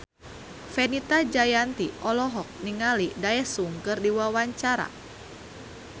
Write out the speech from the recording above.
Fenita Jayanti olohok ningali Daesung keur diwawancara